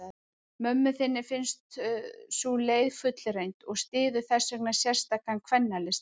Mömmu þinni finnst sú leið fullreynd, og styður þessvegna sérstakan kvennalista.